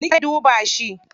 Likita zai duba shi.